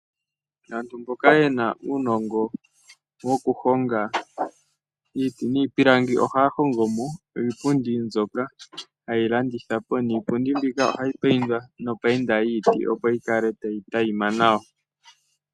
Aantu mboka ye na uunongo wokuhonga iiti niipilangi oha ya hongomo iipundi mbyoka haye yi landithapo niipunndi mbika oha yi payindwa nopayinda yiiti opo yi kale tayi tayima nawa.